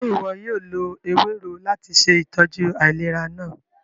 Ṣe iwọ yóò lo ewero lati ṣe itọju ailera naa?